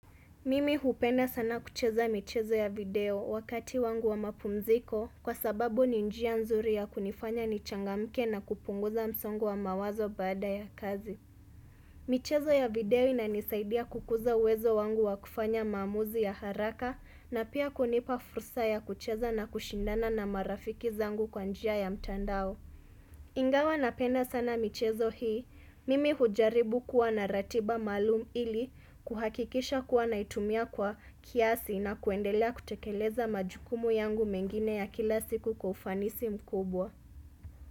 Mimi hupenda sana kucheza michezo ya video wakati wangu wa mapumziko kwa sababu ninjia nzuri ya kunifanya nichangamke na kupunguza msongo wa mawazo bada ya kazi. Michezo ya video inanisaidia kukuza uwezo wangu wa kufanya mamuzi ya haraka na pia kunipa fursa ya kucheza na kushindana na marafiki zangu kwanjia ya mtandao. Ingawa napenda sana michezo hii, mimi hujaribu kuwa naratiba malum ili kuhakikisha kuwa naitumia kwa kiasi na kuendelea kutekeleza majukumu yangu mengine ya kila siku kufanisi mkubwa.